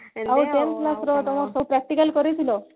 ଆଉ ten class ର ତମର ସବୁ practical କରେଇ ଥିଲ